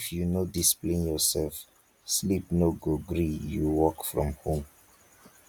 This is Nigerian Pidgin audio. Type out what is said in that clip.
if you no discipline yoursef sleep no go gree you work from home